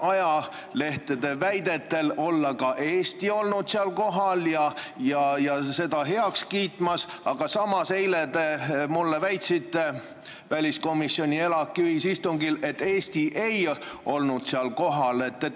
Ajalehtede väidetel olevat ka Eesti seal kohal olnud seda heaks kiitmas, aga samas eile te väitsite väliskomisjoni ja ELAK-i ühisistungil, et Eesti ei olnud seal kohal.